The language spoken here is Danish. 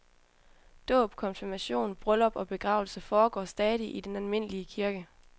Dåb, konfirmation, bryllup og begravelse foregår stadig i den almindelige kirke.